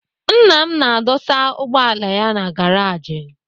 Nna m na-adụsa ụgbọala ya na garaji ya.